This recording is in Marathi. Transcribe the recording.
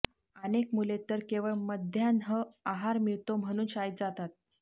अनेक मुले तर केवळ मध्यान्ह आहार मिळतो म्हणून शाळेत जातात